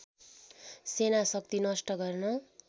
सेना शक्ति नष्ट गर्न